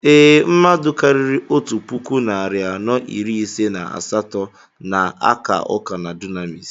Ee, mmadụ karịrị otu puku narị anọ iri ise na asatọ na-aka ụka na Dunamis.